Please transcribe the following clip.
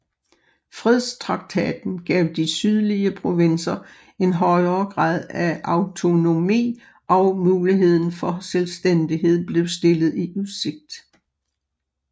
Fredstraktaten gav de sydlige provinser en højere grad af autonomi og muligheden for selvstændighed blev stillet i udsigt